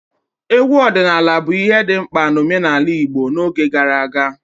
Egwu ọdịnala bụ ihe dị mkpa na omenala Igbo n'oge gara aga.